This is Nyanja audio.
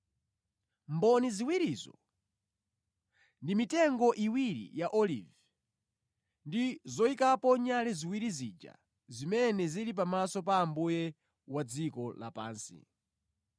Mboni ziwirizo ndi mitengo iwiri ya olivi ndi zoyikapo nyale ziwiri zija zimene zili pamaso pa Ambuye wa dziko lapansi.